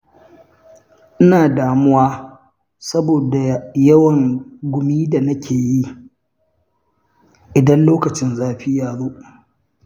Ina damuwa saboda yawan gumin da nake, idan lokacin zafi ta zo.